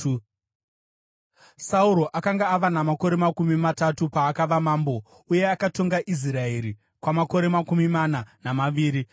Sauro akanga ava namakore makumi matatu paakava mambo, uye akatonga Israeri kwamakore makumi mana namaviri.